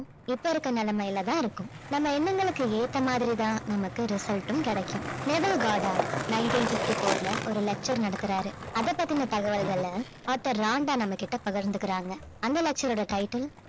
இப்ப இருக்க நிலைமையில தான் இருக்கும் நம்ம எண்ணங்களுக்கு ஏத்த மாதிரி தான் நமக்கு result ம் கிடைக்கும் nineteen fifty four ல ஒரு lecture நடத்துறாரு அதை பத்தின தகவல்களை author ராண்டா நம்மகிட்ட பகிர்ந்துக்கிறாங்க அந்த lecture ஓட title